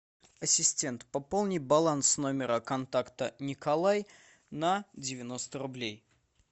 ассистент пополни баланс номера контакта николай на девяносто рублей